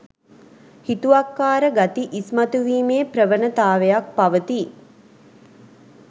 හිතුවක්කාර ගති ඉස්මතුවීමේ ප්‍රවනතාවයක් පවතී.